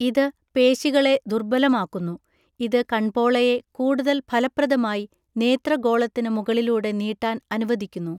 ഇത് പേശികളെ ദുർബലമാക്കുന്നു, ഇത് കൺപോളയെ കൂടുതൽ ഫലപ്രദമായി നേത്രഗോളത്തിന് മുകളിലൂടെ നീട്ടാൻ അനുവദിക്കുന്നു.